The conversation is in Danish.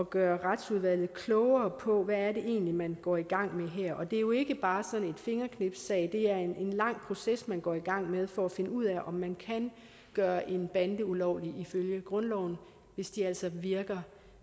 gøre retsudvalget klogere på hvad det egentlig er man går i gang med her det er jo ikke bare sådan en fingerknipssag det er en lang proces man går i gang med for at finde ud af om man kan gøre en bande ulovlig ifølge grundloven hvis de altså virker